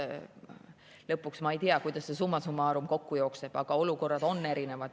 Lõpuks, ma ei tea, kui palju see summa summarum kokku teeb, aga olukorrad on erinevad.